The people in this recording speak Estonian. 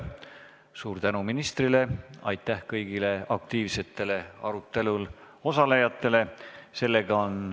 Suur tänu ministrile ja aitäh kõigile aktiivsetele arutelul osalejatele!